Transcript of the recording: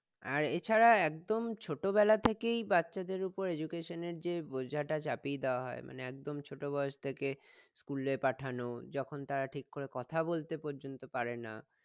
আর এছাড়াও একদম ছোটবেলা থেকেই বাচ্চাদের ওপর education এর যে বোঝাটা চাপিয়ে দেওয়া হয় মানে একদম ছোট বয়স থেকে school এ পাঠানো যখন তারা ঠিক করে কথা বলতে পর্যন্ত পারেনা